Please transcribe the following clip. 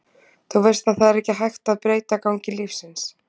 Þú veist að það er ekki hægt að breyta gangi lífsins.